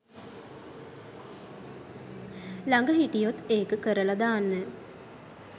ලග හිටියොත් ඒකකරල දාන්න.